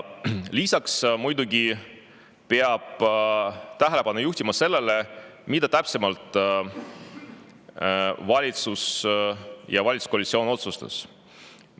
Lisaks muidugi peab tähelepanu juhtima sellele, mida täpsemalt valitsus ja valitsuskoalitsioon otsustas.